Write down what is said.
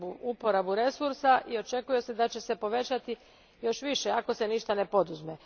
uporabu resursa i očekuje se da će se povećati još više ako se ništa ne poduzme.